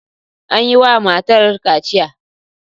An yi wa matar kaciya.